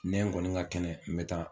Ne n kɔni ka kɛnɛ n bɛ taa